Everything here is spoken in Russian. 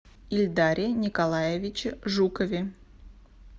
ильдаре николаевиче жукове